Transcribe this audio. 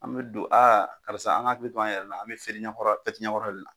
An be don aa karisa an ga hakili to an yɛrɛ la an be seli ɲɛkɔrɔ la fɛti ɲɛkɔrɔla de la